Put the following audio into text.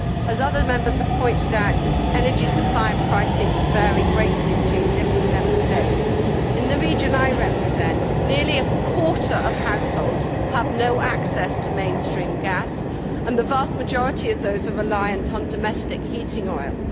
As other Members have pointed out, energy supply and pricing can vary greatly between different Member States. In the region I represent, nearly a quarter of households have no access to mainstream gas, and the vast majority of those are reliant on domestic heating oil.